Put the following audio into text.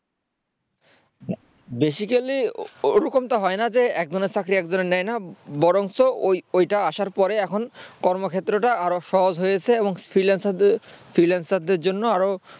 basically ওরকমটা হয় না যে একজনের চাকরি একজনের নেয়না বরঞ্চ ওইটা আসার পরে এখন কর্মক্ষেত্র টা আরো সহজ হয়েছে এবং freelancer দের জন্য আরো